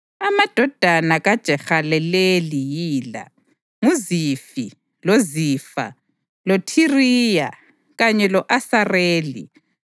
Amadodana kaJehaleleli yila: nguZifi, loZifa, loThiriya kanye lo-Asareli.